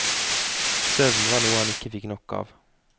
Søvn var noe han ikke fikk nok av.